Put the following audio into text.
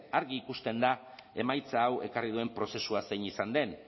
argi ikusten da emaitza hau ekarri duen prozesua zein izan den